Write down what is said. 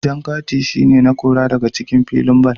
Jan kati shi ne na Kora daga cikin filin ball.